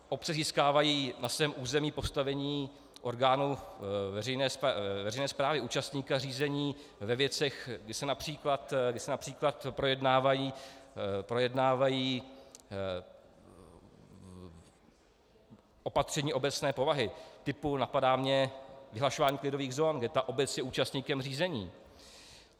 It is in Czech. Obce získávají na svém území postavení orgánu veřejné správy, účastníka řízení ve věcech, kdy se například projednávají opatření obecné povahy, typu, napadá mě, vyhlašování klidových zón, kde ta obec je účastníkem řízení.